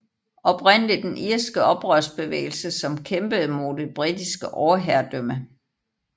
Oprindelig den irske oprørsbevægelse som kæmpede mod det britiske overherredømme